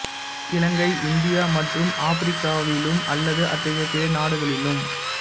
இலங்கை India மற்றும் ஆபிரிக்காவிலும் அல்லது அத்தகைய பிற நாடுகளிலும்